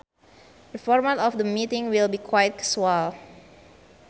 The format of the meeting will be quite casual